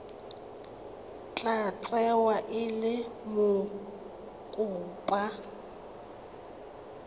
tla tsewa e le mokopa